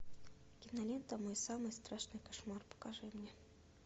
кинолента мой самый страшный кошмар покажи мне